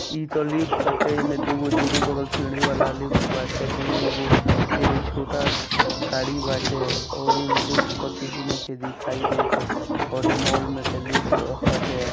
ई तो लिफ्ट होटे ई में दुगो दोनों दुनू बगल सीढ़ी वाला लिफ्ट बाटे ई मे एगो ई जो छोटा घारी बाटे और ई म लिफ्ट पर के हु नहिखे दिखाई देत है और ई मोल मे तो लिफ्ट होटे |